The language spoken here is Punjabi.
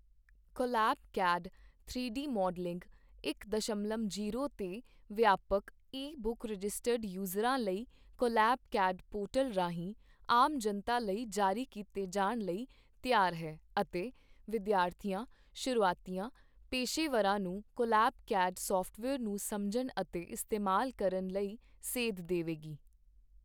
ਕੋਲੈਬ ਕੈਡ ਤਿੰਨ ਡੀ ਮਾ਼ਡਲਿੰਗ ਇਕ ਦਸ਼ਮਲਵ ਜੀਰੋ ਤੇ ਵਿਆਪਕ ਈ ਬੁੱਕ ਰਜਿਸਟਰਡ ਯੂਜ਼ਰਾਂ ਲਈ ਕੋਲੈਬ ਕੈਡ ਪੋਰਟਲ ਰਾਹੀਂ ਆਮ ਜਨਤਾ ਲਈ ਜਾਰੀ ਕੀਤੇ ਜਾਣ ਲਈ ਤਿਆਰ ਹੈ ਅਤੇ ਵਿਦਿਆਰਥੀਆਂ, ਸ਼ੁਰੂਆਤੀਆਂ, ਪੇਸ਼ੇਵਰਾਂ ਨੂੰ ਕੋਲੈਬ ਕੈਡ ਸਾਫਟਵੇਅਰ ਨੂੰ ਸਮਝਣ ਅਤੇ ਇਸਤੇਮਾਲ ਕਰਨ ਲਈ ਸੇਧ ਦੇਵੇਗੀ।